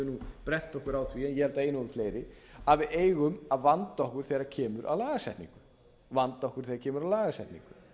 höfum brennt okkur á því en ég held að það eigi nú við fleiri að við eigum að vanda okkur þegar kemur að lagasetningu það er